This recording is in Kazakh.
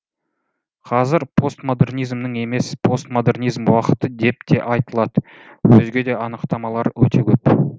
қазір постмодернизмнің емес постпостмодернизм уақыты деп те айтылады өзге де анықтамалар өте көп